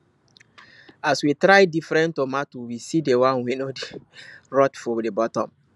as we try different tomato we see the one wey no dey rot for the bottom